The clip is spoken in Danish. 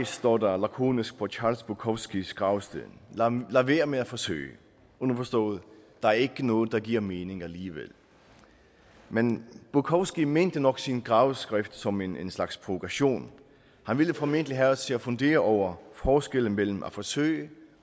står der lakonisk på charles bukowskis gravsted lad være med at forsøge underforstået der er ikke noget der giver mening alligevel men bukowski mente nok sin gravskrift som en slags provokation han ville formentlig have os til at fundere over forskellen mellem at forsøge